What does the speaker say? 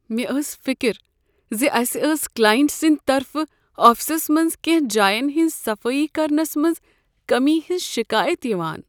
مےٚ ٲس فکر ز اسہ ٲس کلائنٹ سٕنٛدۍ طرفہٕ آفسس منٛز کینٛہہ جاین ہنٛز صفٲیی کرنس منٛز کٔمی ہٕنٛز شکایات یوان۔